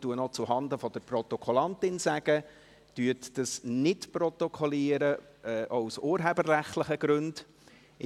Ich sage noch zuhanden der Protokollführerin: Protokollieren Sie dies aus urheberrechtlichen Gründen nicht!